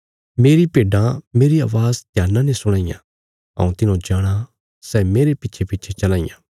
मेरी भेड्डां मेरी अवाज़ ध्याना ने सुणां इयां हऊँ तिन्हौं जाणाँ सै मेरे पिच्छेपिच्छे चलां इयां